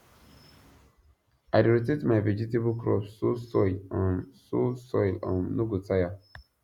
i dey rotate my vegetable crops so soil um so soil um no go tire